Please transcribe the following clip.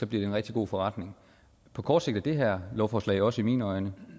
bliver en rigtig god forretning på kort sigt er det her lovforslag også i mine øjne